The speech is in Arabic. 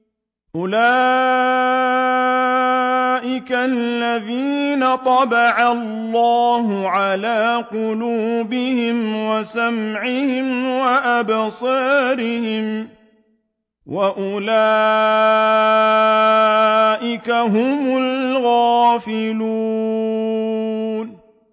أُولَٰئِكَ الَّذِينَ طَبَعَ اللَّهُ عَلَىٰ قُلُوبِهِمْ وَسَمْعِهِمْ وَأَبْصَارِهِمْ ۖ وَأُولَٰئِكَ هُمُ الْغَافِلُونَ